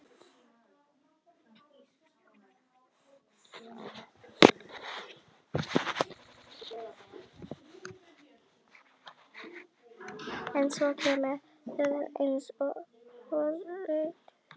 En svo kemur þögn eins og hvorugt þeirra viti hvað eigi að segja.